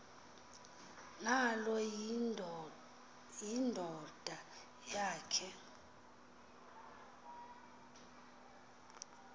nalo yindoda yakhe